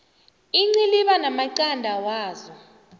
iinciliba namaqanda wazo